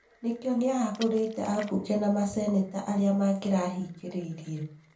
Nĩkĩo nĩahagũrĩte ambunge na masenĩta arĩa mangĩrahingĩrĩirie.